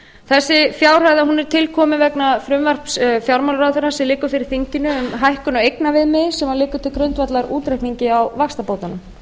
þessi fjárhæð er til komin vegna frumvarps fjármálaráðherra sem liggur fyrir þinginu um hækkun á eignaviðmiði sem liggur til grundvallar útreikningi á vaxtabótunum